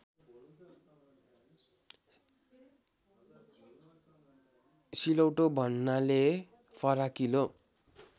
सिलौटो भन्नाले फराकिलो